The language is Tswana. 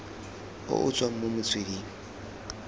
o o tswang mo metsweding